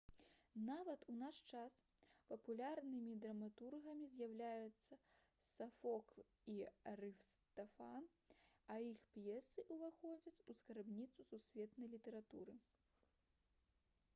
нават у наш час папулярнымі драматургамі застаюцца сафокл і арыстафан а іх п'есы ўваходзяць у скарбніцу сусветнай літаратуры